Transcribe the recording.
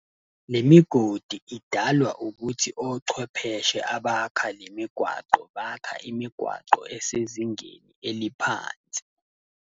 Nemigodi idalwa ukuthi ochwepheshe abakha lemigwaqo, bakha imigwaqo esezingeni eliphansi.